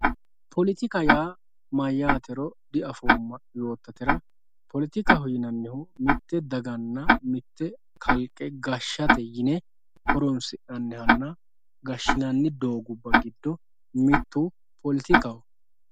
poletika yaa mayaatero diafooma yootatera poletikaho yinannihu mitte daganna mitte kalqe gashshate yine horonsi'nanihanna gashinanni doogubba giddo mittu poletikaho